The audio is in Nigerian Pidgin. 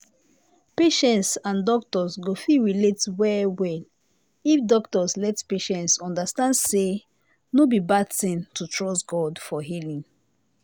patients and doctors go fit relate well well if doctors let patients understand say no be bad thing to trust god for healing